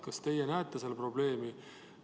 Kas teie näete selles probleemi?